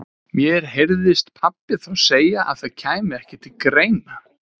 Því á og skaparinn tilkall til hans sjálfs og alls sem hann á og megnar.